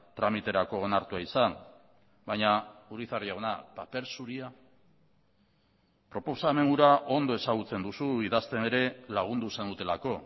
tramiterako onartua izan baina urizar jauna paper zuria proposamen hura ondo ezagutzen duzu idazten ere lagundu zenutelako